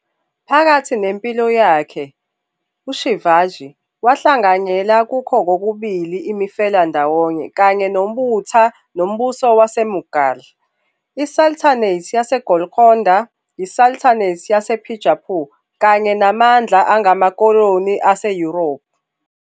Phakathi nempilo yakhe, uShivaji wahlanganyela kukho kokubili imifelandawonye kanye nobutha noMbuso WaseMughal, iSultanate yaseGolkonda, iSultanate yaseBijapur kanye namandla angamakoloni aseYurophu.